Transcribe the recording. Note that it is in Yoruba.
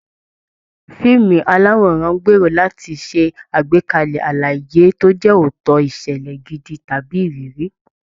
Fíìmù aláwòrán ń gbèrò láti ṣe àgbékalẹ̀ àlàyé tó jẹ́ òótọ́, ìṣẹ̀lẹ̀ gidi, tàbí ìrírí